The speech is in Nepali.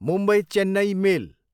मुम्बई चेन्नई मेल